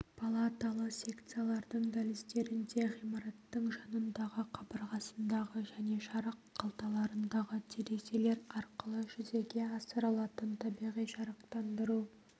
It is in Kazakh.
палаталы секциялардың дәліздерінде ғимараттың жанындағы қабырғасындағы және жарық қалталарындағы терезелер арқылы жүзеге асырылатын табиғи жарықтандыру